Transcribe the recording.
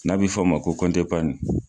N'a bɛ fɔ a ma ko kɔnti epani.